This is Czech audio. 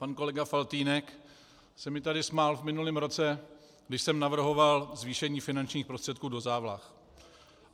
Pan kolega Faltýnek se mi tady smál v minulém roce, když jsem navrhoval zvýšení finančních prostředků do závlah.